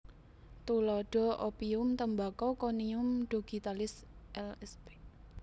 Tuladha opium tembakau konium dogitalis lsp